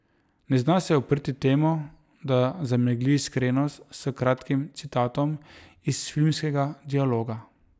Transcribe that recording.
Ne zna se upreti temu, da zamegli iskrenost s kratkim citatom iz filmskega dialoga.